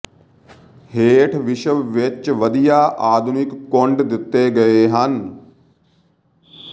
ਹੇਠ ਵਿਸ਼ਵ ਵਿੱਚ ਵਧੀਆ ਆਧੁਨਿਕ ਕੁੰਡ ਦਿੱਤੇ ਗਏ ਹਨ